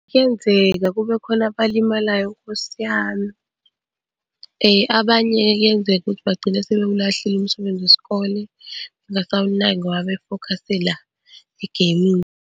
Kuyenzeka kube khona abalimalayo Nkosi yami. Abanye kuyenzeka ukuthi bagcine sebewulahlile umsebenzi wesikole, bengasawunaki ngoba sebefokhase la egeyimini.